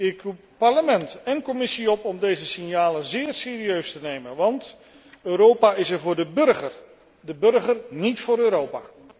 Ik roep Parlement en Commissie op om deze signalen zeer serieus te nemen, want Europa is er voor de burger, de burger niet voor Europa!